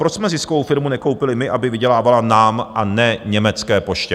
Proč jsme ziskovou firmu nekoupili my, aby vydělávala nám, a ne německé poště?